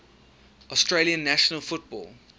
australian national football